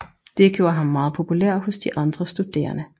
Det gjorde ham meget populær hos de andre studerende